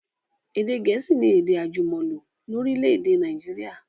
Èdè gẹ̀ẹ̀síì ni èdè àjùmọ̀lò lórílẹ̀dè Naijiria